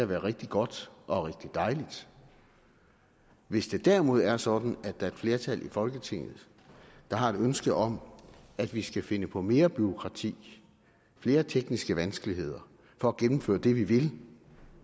være rigtig godt og rigtig dejligt hvis det derimod er sådan at der er et flertal i folketinget der har et ønske om at vi skal finde på mere bureaukrati og flere tekniske vanskeligheder for at gennemføre det vi vil